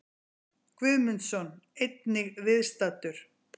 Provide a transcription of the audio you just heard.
Guðmundsson, einnig viðstaddur.